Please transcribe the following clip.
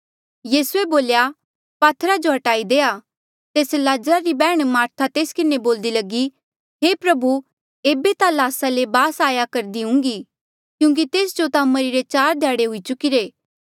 यीसूए बोल्या पात्थरा जो हटाई देआ तेस लाजरा री बैहण मार्था तेस किन्हें बोल्दे लगी हे प्रभु एेबे ता ल्हासा ले बास आया करदी हुंगी क्यूंकि तेस जो ता मरिरे चार ध्याड़े हुई चुकिरे